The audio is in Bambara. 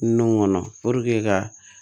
Nun kɔnɔ ka